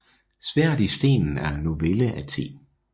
Sværdet i stenen er en novelle af T